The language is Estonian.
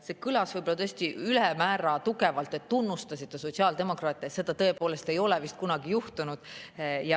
See kõlas võib-olla tõesti ülemäära tugevalt, et tunnustasite sotsiaaldemokraate, seda tõepoolest ei ole vist kunagi juhtunud.